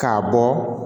K'a bɔ